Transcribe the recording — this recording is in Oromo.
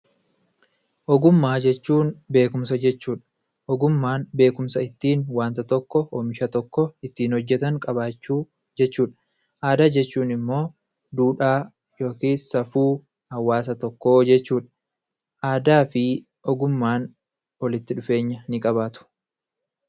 Ogummaa jechuun beekumsa jechuudha. Ogummaan beekumsa ittiin waanta tokko, oomisha tokko ittiin hojjetan qabaachuu jechuudha. Aadaa jechuun immoo duudhaa yookiis safuu hawaasa tokkoo jechuudha. Aadaa fi ogummaan walitti dhufeenya ni qabaatu.